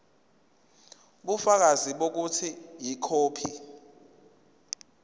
ubufakazi bokuthi ikhophi